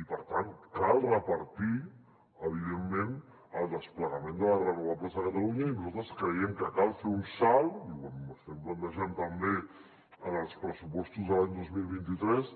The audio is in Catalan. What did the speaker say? i per tant cal repartir evidentment el desplegament de les renovables a catalunya i nosaltres creiem que cal fer un salt i ho estem plantejant també en els pressupostos de l’any dos mil vint tres